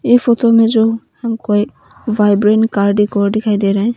ये फोटो में जो हमको ये वाइब्रेंट कार डेकोर दिखाई दे रहा है।